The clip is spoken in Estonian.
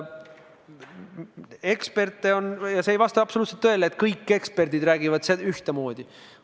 Eksperte on palju, see ei vasta absoluutselt tõele, et kõik eksperdid räägivad ühtemoodi.